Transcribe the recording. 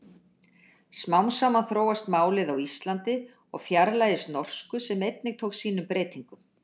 Smám saman þróast málið á Íslandi og fjarlægist norsku sem einnig tók sínum breytingum.